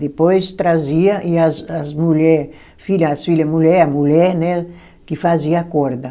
Depois trazia e as as mulher, filha as filha mulher, a mulher, né, que fazia a corda.